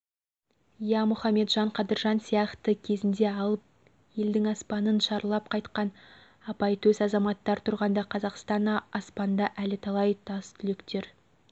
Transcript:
иә мұхамеджан қадыржан сияқты кезінде алып елдің аспанын шарлап қайтқан апайтөс азаматтар тұрғанда қазақстан аспанда әлі талай тастүлектер